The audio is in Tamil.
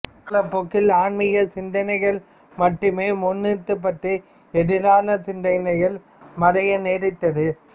காலப்போக்கில் ஆன்மீக சிந்தனைகள் மட்டுமே முன்னிறுத்தப்பட்டு எதிரான சிந்தனைகள் மறைய நேரிட்டது